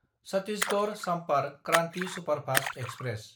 Chhattisgarh Sampark Kranti superfast express